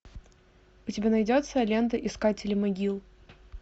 у тебя найдется лента искатели могил